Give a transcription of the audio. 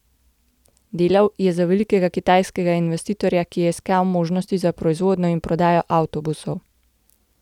Delal je za velikega kitajskega investitorja, ki je iskal možnosti za proizvodnjo in prodajo avtobusov.